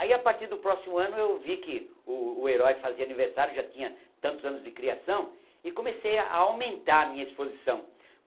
Aí a partir do próximo ano eu vi que o o herói fazia aniversário, já tinha tantos anos de criação e comecei a a aumentar a minha exposição.